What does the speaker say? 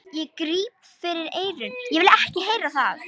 Ég gríp fyrir eyrun, ég vil ekki heyra það!